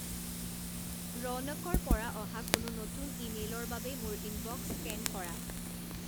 ৰৌনকৰ পৰা অহা কোনো নতুন ইমেইলৰ বাবে মোৰ ইনবক্স স্কেন কৰা